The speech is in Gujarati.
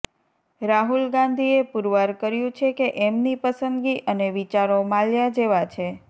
રાહુલ ગાંધીએ પૂરવાર કર્યું છે કે એમની પસંદગી અને વિચારો માલ્યા જેવા છે